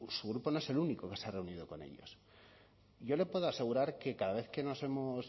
su grupo no es el único que se ha reunido con ellos yo le puedo asegurar que cada vez que nos hemos